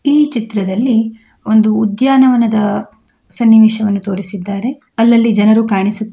ಈ ಚಿತ್ರದಲ್ಲಿ ಒಂದು ಉದ್ಯಾನವನದ ಸನ್ನಿವೇಶವನ್ನು ತೋರಿಸಿದ್ದಾರೆ ಅಲ್ಲಲ್ಲಿ ಜನರು ಕಾಣಿಸು--